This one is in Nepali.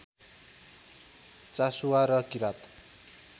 चासुवा र किरात